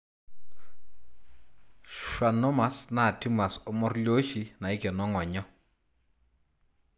Schwannomas na tumors omorioshi naikeno ingonyo (nerve sheath).o